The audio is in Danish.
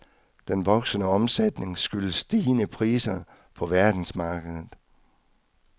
Den voksende omsætning skyldes stigende priser på verdensmarkedet.